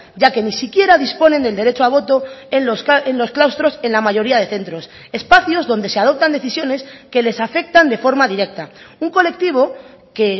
ya que ni siquiera disponen del derecho a voto en los claustros en la mayoría de centros espacios donde se adoptan decisiones que les afectan de forma directa un colectivo que